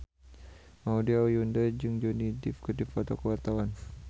Maudy Ayunda jeung Johnny Depp keur dipoto ku wartawan